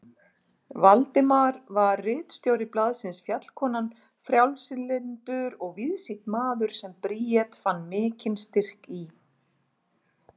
Valdimar var ritstjóri blaðsins Fjallkonan, frjálslyndur og víðsýnn maður sem Bríet fann mikinn styrk í.